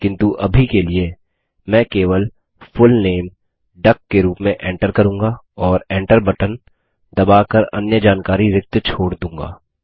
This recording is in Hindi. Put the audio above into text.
किन्तु अभी के लिए मैं केवल फुल नामे डक के रूप में enter करूँगा और enter बटन दबा कर अन्य जानकारी रिक्त छोड़ दूँगा